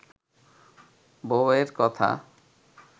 বউয়ের কথা